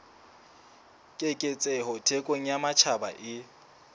keketseho thekong ya matjhaba e